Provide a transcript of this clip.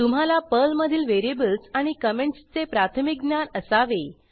तुम्हाला पर्लमधील व्हेरिएबल्स आणि कॉमेंटसचे प्राथमिक ज्ञान असावे